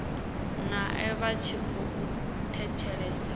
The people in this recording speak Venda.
nae vha tshi khou thetshelesa